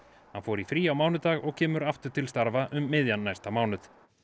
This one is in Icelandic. hann fór í frí á mánudag og kemur aftur til starfa um miðjan næsta mánuð